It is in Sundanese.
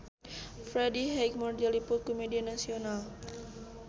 Freddie Highmore diliput ku media nasional